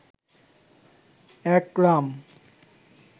একরাম